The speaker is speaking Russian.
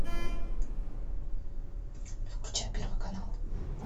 включай первый канал